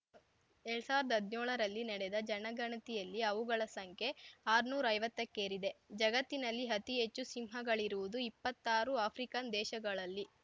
ಎರಡ್ ಸಾವಿರ್ದಾ ಹದ್ನ್ಯೋಳರಲ್ಲಿ ನೆಡೆದ ಜನಗಣತಿಯಲ್ಲಿ ಅವುಗಳ ಸಂಖ್ಯೆ ಆರ್ನೂರೈವತ್ತಕ್ಕೇರಿದೆ ಜಗತ್ತಿನಲ್ಲಿ ಅತಿ ಹೆಚ್ಚು ಸಿಂಹಗಳಿರುವುದು ಇಪ್ಪತ್ತಾರು ಆಫ್ರಿಕನ್‌ ದೇಶಗಳಲ್ಲಿ